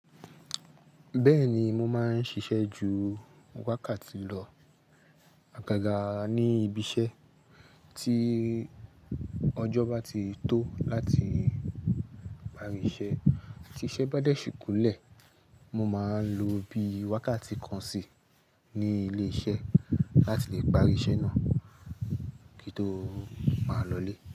Bẹ́ẹ̀ni mo máa ń ṣiṣẹ́ ju wákàtí lọ, àkágà ní ibiiṣẹ́ tí ọjọ́ bá ti tó láti parí iṣẹ́, tí iṣẹ́ bá dẹ̀ ṣì kúnlẹ̀ mo máa lò bi wákàtí kan sí ní ilé iṣẹ́ láti le parí iṣẹ́ náà kí n tó máa lọlé.